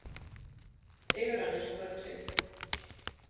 Digranesgötu